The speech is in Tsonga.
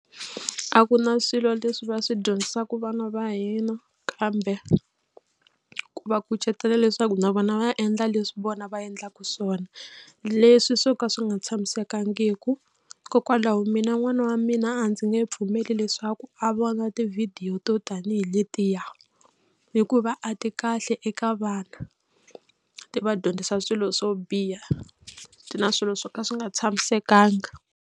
A ku na swilo leswi va swi dyondzisaka vana va hina kambe ku va kucetela leswaku na vona va endla leswi vona va endlaka swona leswi swo ka swi nga tshamisekangiki. Hikokwalaho mina n'wana wa mina a ndzi nge pfumeli leswaku a vona tivhidiyo to tanihi letiya hikuva a ti kahle eka vana ti va dyondzisa swilo swo biha ti na swilo swo ka swi nga tshamisekanga.